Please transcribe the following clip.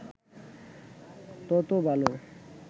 তত ভালো